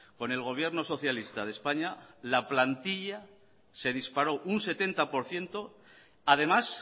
con el gobierno socialista de españa la plantilla se disparó un setenta por ciento además